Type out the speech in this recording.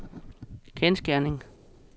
kendsgerning